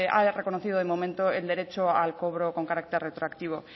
ha reconocido de momento el derecho al cobro con carácter retroactivo